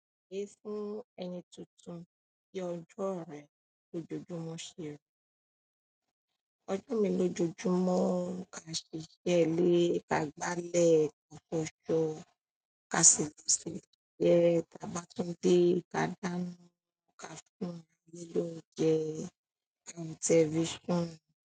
Èé fún ẹni tuntun bi ọjọ́ rẹ̀ lójoojúmọ́ ṣeri ọjọ́ mi lójoojúmọ́ ka ṣiṣẹ́ ilé, ka gbálẹ̀, ka fọṣọ, ka sìbẹ̀ sílẹ́, ta bá tún dé, ka dáná, ka fún ayé l'oúnjẹ, kawo television.